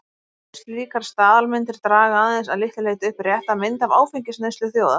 Slíkar staðalmyndir draga aðeins að litlu leyti upp rétta mynd af áfengisneyslu þjóða.